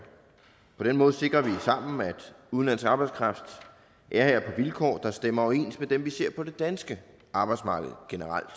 på den måde sikrer vi sammen at udenlandsk arbejdskraft er her på vilkår der stemmer overens med dem vi ser på det danske arbejdsmarked generelt